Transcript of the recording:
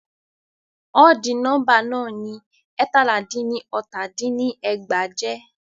Ọdì nọ́mbà náà ni ẹ́ẹ̀tàlá dín ní ọta dín ní ẹgbàá jẹ́.